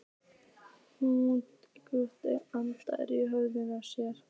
Hún grúfði andlitið í höndum sér.